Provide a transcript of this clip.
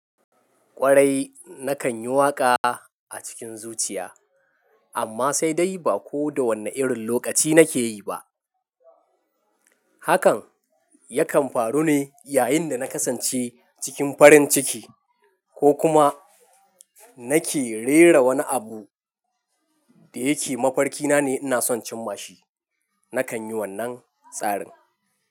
Kwarai na kan yi waƙa a cikin zuciya amma sai dai ba ko da wane irin lokaci na ke yi ba. Hakan ya kan faru ne yayin da na kasance cikin farin ciki ko kuma na ke rera wani abu da yake mafarki na ne ina son cimma shi. Na kan yi wannan tsarin.